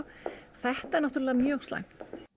þetta er náttúrlega mjög slæmt